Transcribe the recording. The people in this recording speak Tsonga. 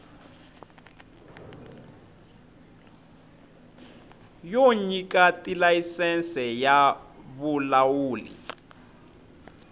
yo nyika tilayisense ya vulawuli